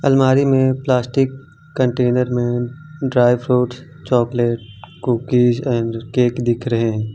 अलमारी में plastic container में dry fruit chocolate cookies and cake दिख रहे हैं।